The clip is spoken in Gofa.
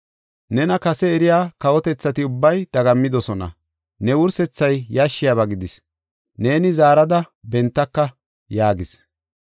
Nena kase eriya kawotethati ubbay dagammidosona. Ne wursethay yashshiyabaa gidis; neeni zaarada bentaka’ ” yaagis.